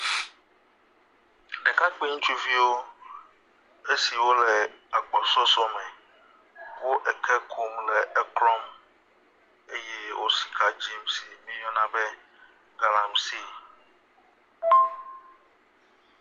Ɖekakpui ŋutsuviwo esiwo le agbɔsɔsɔ me wo eke kum le eklɔm eye wo sika dzim si miyɔna be galamsey.